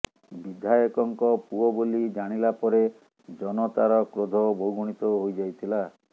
ବିଧାୟକଙ୍କ ପୁଅ ବୋଲି ଜାଣିଲାପରେ ଜନତାର କ୍ରୋଧ ବହୁଗୁଣିତ ହୋଇଯାଇଥିଲା